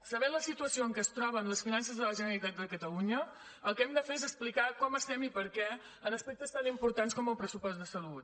sabent la situació en què es troben les finances de la generalitat de catalunya el que hem de fer és explicar com estem i per què en aspectes tan importants com el pressupost de salut